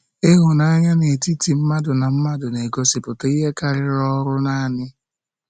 Ihụnanya n'etiti mmadụ na mmadụ na-egosipụta ihe karịrị ọrụ nanị.